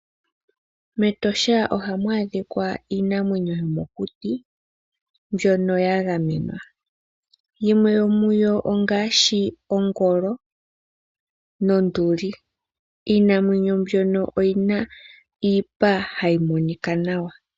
Metosha ohamu adhika iinamwenyo yomokuti mbwono ya gamenwa . Yimwe yomuyo ongashi Ongolo, Nonduli, iinamwenyo mbwono oyina iipa hayi monika nawa